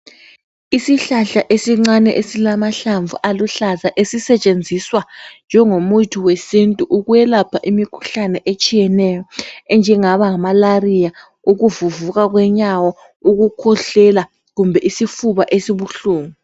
Isihlahla esincane esilamahlamvu aluhlaza esisetshenziswa njengomuthi wesintu ukwelapha imikhuhlane etshiyeneyo enjengaba nga"malaria",ukuvuvuka kwenyawo, ukukhwehlela kumbe isifuba esibuhlungu.